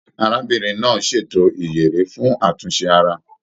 Arábìnrin náà ṣètò ìyèré fún àtúnṣe ara.